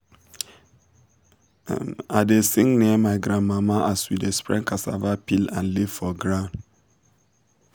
um i dey sing near my grandma as we dey spread cassava peel and leaf for ground.